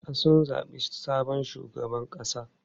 A'a, sun zabi sabon shugaban ƙasa.